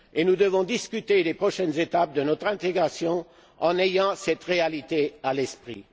Nous devons discuter des prochaines étapes de notre intégration en ayant cette réalité à l'esprit.